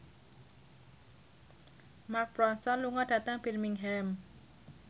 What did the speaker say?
Mark Ronson lunga dhateng Birmingham